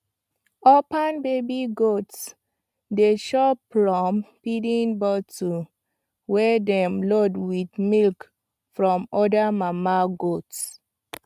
orphan baby goats dey chop from feeding bottle wey dem load with milk from other mama goats